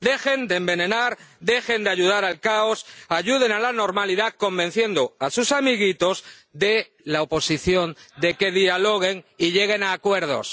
Dejen de envenenar, dejen de contribuir al caos, ayuden a la normalidad, convenciendo a sus amiguitos de la oposición de que dialoguen y lleguen a acuerdos.